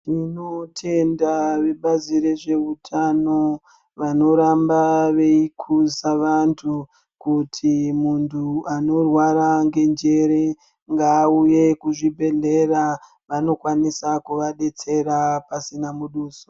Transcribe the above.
Tinotenda vebazi rezveutano, vanoramba veikhuza vanthu, kuti muntu anorwara ngenjere, ngauye kuzvibhedhlera. Vanokwanisa kuvadetsera pasina muduso.